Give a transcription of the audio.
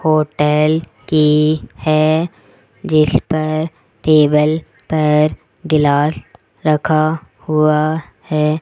Hotel की है जिसपर टेबल पर गिलाश रखा हुआ है।